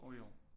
Og i år